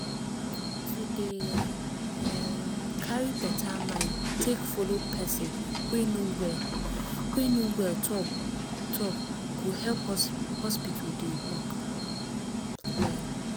to dey um carry beta mind take follow person wey no well wey no well talk go help hospital dey work well